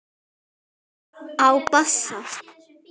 Á bassa.